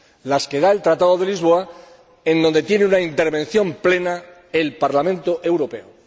Las que proporciona el Tratado de Lisboa, en donde tiene una intervención plena el Parlamento Europeo.